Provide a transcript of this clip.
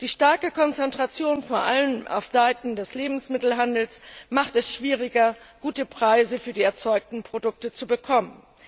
Die starke Konzentration vor allem auf Seiten des Lebensmittelhandels macht es schwieriger, gute Preise für die erzeugten Produkte zu bekommen.